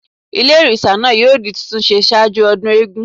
Ilé òrìsà náà yóò di títún se sáájú ọdún Ògún